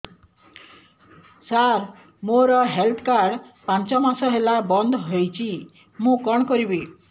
ସାର ମୋର health card ପାଞ୍ଚ ମାସ ହେଲା ବଂଦ ହୋଇଛି ମୁଁ କଣ କରିବି